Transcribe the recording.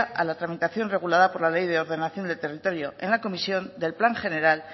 a la tramitación regulada por la ley de ordenación del territorio en la comisión del plan general